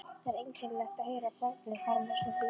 Það er einkennilegt að heyra barnið fara með svona línur